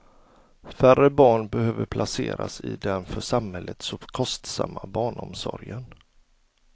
Färre barn behöver placeras i den för samhället så kostsamma barnomsorgen.